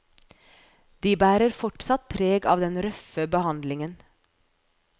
De bærer fortsatt preg av den røffe behandlingen.